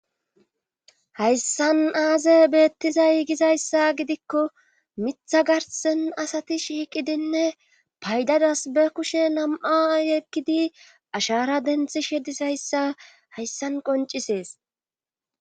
Hayssan aaze beettizay gizayssa gidikko mitha garssen asati shiiqidinne paydadas be kushe nam7a yekkidi ashaara denthishe dizayssa hayssan qoncisees.